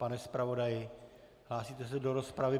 Pane zpravodaji, hlásíte se do rozpravy?